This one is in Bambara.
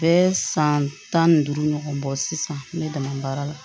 Bɛɛ san tan ni duuru ɲɔgɔn bɔ sisan ne dɛmɛ baara la